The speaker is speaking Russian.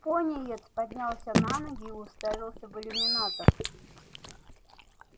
пониетс поднялся на ноги и уставился в иллюминатор